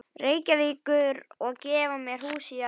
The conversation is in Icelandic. Reykjavíkur og gefa mér hús að búa í.